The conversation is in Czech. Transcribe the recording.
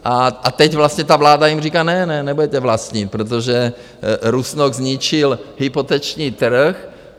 A teď vlastně ta vláda jim říká: Ne, ne, nebudete vlastnit, protože Rusnok zničil hypoteční trh.